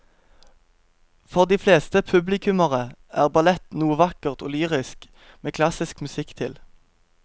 For de fleste publikummere er ballett noe vakkert og lyrisk med klassisk musikk til.